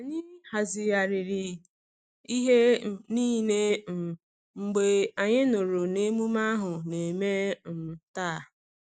Anyị hazigharịri ihe um niile um mgbe anyị nụrụ na emume ahu na-eme um taa.